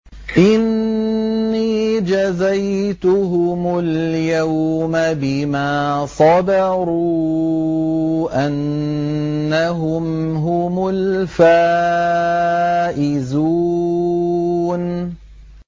إِنِّي جَزَيْتُهُمُ الْيَوْمَ بِمَا صَبَرُوا أَنَّهُمْ هُمُ الْفَائِزُونَ